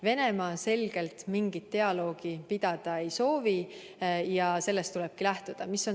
Venemaa selgelt mingit dialoogi pidada ei soovi ja sellest tulebki lähtuda.